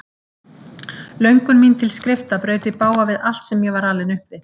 Löngun mín til skrifta braut í bága við allt sem ég var alinn upp við.